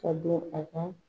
Ka don a kan